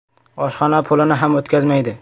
Oshxona pulini ham o‘tkazmaydi.